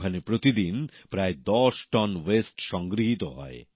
ওখানে প্রতিদিন প্রায় ১০ টন বর্জ্য পদার্থ সংগৃহীত হয়